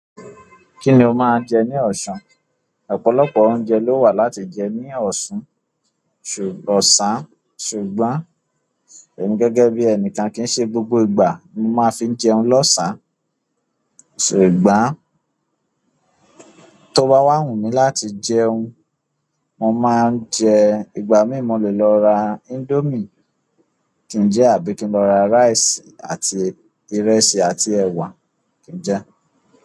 Kíni o máa ń jẹ ní ọ̀ṣan ọ̀pọ̀lọpọ̀ lo wa láti je ni osan sugbo e mi gẹ́gẹ́ bi enikan ko ki se gbogbo ìgbà ni mo ma fi jẹun losan. Ṣùgbọ́n tó bá wà wù mí láti jẹun, mo máa ń jẹ ìgbà mí mo lè lọ ra índómìe kí n jẹ àbí kí n lọ ra rice àti ìrẹsì àti ẹ̀wà kí n jẹ.